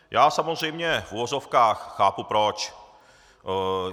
Já samozřejmě v uvozovkách chápu proč.